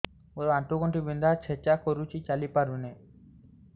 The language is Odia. ମୋର ଆଣ୍ଠୁ ଗଣ୍ଠି ବିନ୍ଧା ଛେଚା କରୁଛି ଚାଲି ପାରୁନି